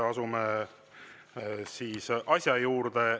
Asume siis asja juurde.